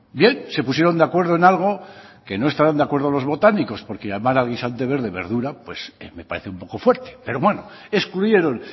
bien se pusieron de acuerdo en algo que no estarán de acuerdo los botánicos porque llamar al guisante verde verdura me parece un poco fuerte pero bueno excluyeron